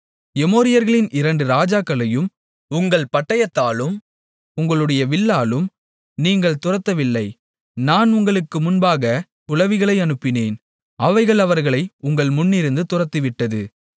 எமோரியர்களின் இரண்டு ராஜாக்களையும் உங்கள் பட்டயத்தாலும் உங்களுடைய வில்லாலும் நீங்கள் துரத்தவில்லை நான் உங்களுக்கு முன்பாகக் குளவிகளை அனுப்பினேன் அவைகள் அவர்களை உங்கள் முன்னிருந்து துரத்திவிட்டது